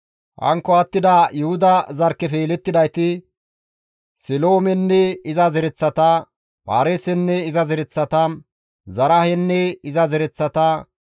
Hankko attida Yuhuda zarkkefe yelettidayti Seloomenne iza zereththata, Paareesenne iza zereththata, Zaraahenne iza zereththata.